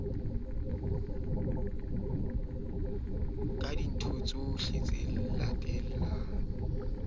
thodisa se itsheleng ka meokgo